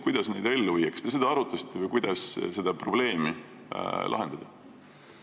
Kas te seda arutasite, kuidas seda probleemi lahendada?